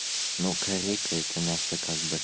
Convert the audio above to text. ну корейка это мясо как бы